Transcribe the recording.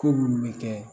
Ko munnu bɛ kɛ